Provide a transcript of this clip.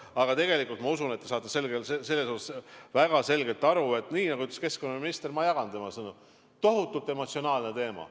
Aga tegelikult ma usun, et te saate väga selgelt aru – nii nagu ütles keskkonnaminister, ma jagan tema sõnu –, et see on tohutult emotsionaalne teema.